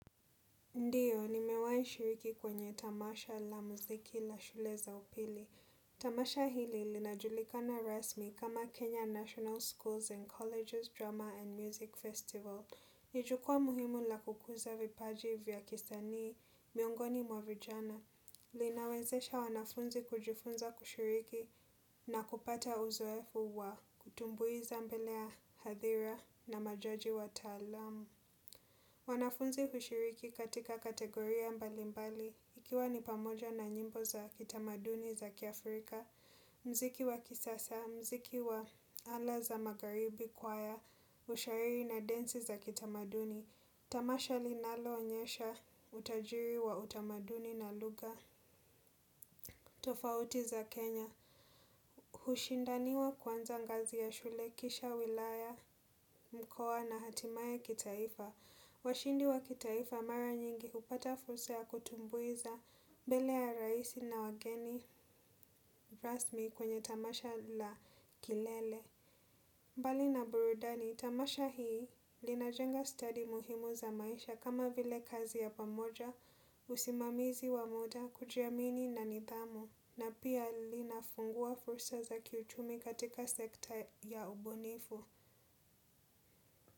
Ndiyo, nimewahi shiriki kwenye tamasha la muziki la shule za upili. Tamasha hili linajulikana rasmi kama Kenya National Schools and Colleges, Drama and Music Festival. Ni jukwaa muhimu la kukuza vipaji vya kisanii, miongoni mwa vijana. Linawezesha wanafunzi kujifunza kushiriki na kupata uzoefu wa kutumbuiza mbele ya hadhira na majaji wataalamu. Wanafunzi hushiriki katika kategoria mbalimbali ikiwa ni pamoja na nyimbo za kitamaduni za kiafrika, muziki wa kisasa, muziki wa ala za magharibi, kwaya, ushairi na densi za kitamaduni. Tamasha linaloonyesha utajiri wa utamaduni na lugha. Tofauti za Kenya. Hushindaniwa kuanza ngazi ya shule kisha wilaya, mkoa na hatimaye kitaifa. Washindi wa kitaifa mara nyingi hupata fursa ya kutumbuiza mbele ya rais na wageni rasmi kwenye tamasha la kilele. Mbali na burudani, tamasha hii linajenga stadi muhimu za maisha kama vile kazi ya pamoja, usimamizi wa muda, kujiamini na nidhamu na pia linafungua fursa za kiuchumi katika sekta ya ubunifu.